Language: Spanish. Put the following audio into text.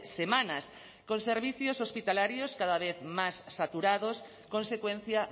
semanas con servicios hospitalarios cada vez más saturados consecuencia